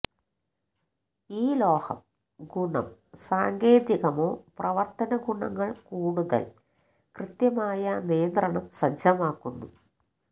ഈ ലോഹം ഗുണ സാങ്കേതികമോ പ്രവർത്തന ഗുണങ്ങൾ കൂടുതൽ കൃത്യമായ നിയന്ത്രണം സജ്ജമാക്കുന്നു